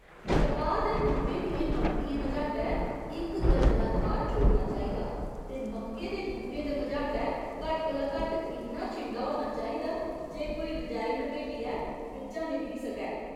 कपाह् दे बूह्टें दियें पंक्तियें मझाटै इक गज दा थाह्‌र छोड़ना चाहिदा ते मक्के दे बूह्टें दे मझाटै घट्ट कोला घट्ट इन्ना छिंडा होना चाहिदा जे कोई रजाई लपेटियै बिच्चा निकली सकै।